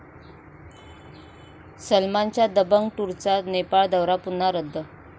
सलमानच्या 'दबंग टूर'चा नेपाळ दौरा पुन्हा रद्द